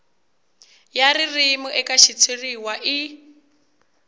ya ririmi eka xitshuriwa i